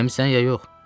Eləmisən ya yox?